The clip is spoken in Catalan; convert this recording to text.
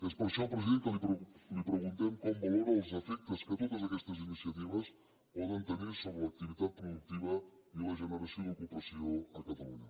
és per això president que li preguntem com valora els efectes que totes aquestes iniciatives poden tenir sobre l’activitat productiva i la generació d’ocupació a catalunya